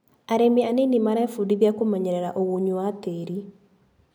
Arĩmi anini marebundithia kũmenyerera ũgunyu wa tĩri.